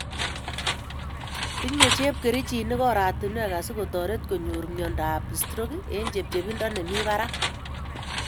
Tinye chepkerichinik oratunwek asikotoret konyor myondo ab stroke en chepchepindo nemi barak